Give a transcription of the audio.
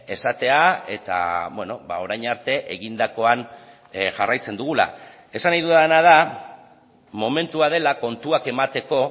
esatea eta orain arte egindakoan jarraitzen dugula esan nahi dudana da momentua dela kontuak emateko